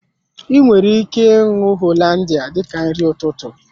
I nwere ike ṅụọ Hollandia dika nri ụtụtụ